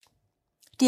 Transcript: DR P2